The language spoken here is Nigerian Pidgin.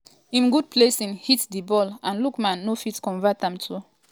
im good placing hit di ball and lookman no fit convert am too.